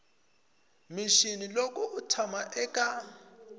mixini loko u tshama eka